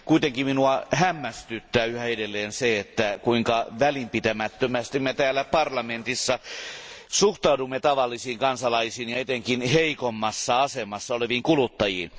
Kuitenkin minua hämmästyttää yhä edelleen se, että kuinka välinpitämättömästi me täällä parlamentissa suhtaudumme tavallisiin kansalaisiin ja etenkin heikommassa asemassa oleviin kuluttajiin.